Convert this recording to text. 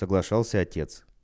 соглашался отец